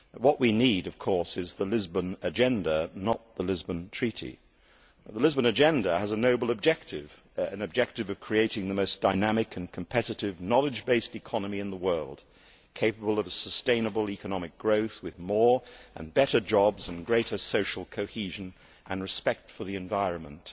What we need, of course, is the Lisbon Agenda, not the Lisbon Treaty. The Lisbon Agenda has a noble objective an objective of creating the most dynamic and competitive knowledge based economy in the world, capable of sustainable economic growth with more and better jobs, greater social cohesion and respect for the environment